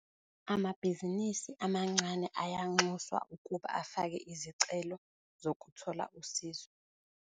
Amabhizinisi amancane ayanxuswa ukuba afake izicelo zokuthola usizo.